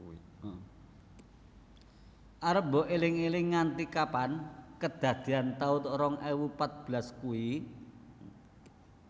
Arep mbok eling eling nganti kapan kedadean taun rong ewu patbelas kui?